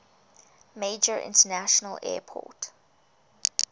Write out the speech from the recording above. major international airport